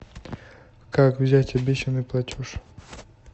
как взять обещанный платеж